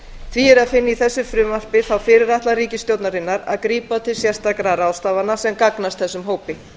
því er að finna í þessu frumvarpi þá fyrirætlan ríkisstjórnarinnar að grípa til sérstakra ráðstafana sem gagnast þessum hópi